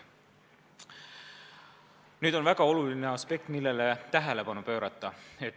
On üks väga oluline aspekt, millele tuleks tähelepanu pöörata.